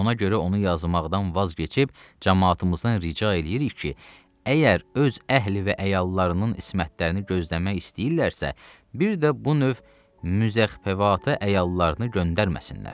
Ona görə onu yazmaqdan vaz keçib camaatımızdan rica eləyirik ki, əgər öz əhli və əyallarının ismətlərini gözləmək istəyirlərsə, bir də bu növ müzəhvavata əyallarını göndərməsinlər.